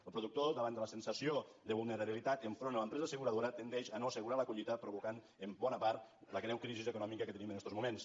el productor davant de la sensació de vulnerabilitat enfront a l’empresa asseguradora tendeix a no assegurar la collita cosa que provoca en bona part la greu crisi econòmica que tenim en estos moments